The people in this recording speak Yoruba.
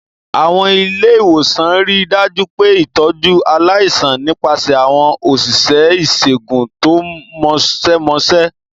Àwọn ilé ìwòsàn rí i dájú pé ìtọ́jú aláìsàn nípasẹ̀ àwọn òṣìṣẹ́ ìṣègùn tó mọ̀ọ́mọṣẹ́.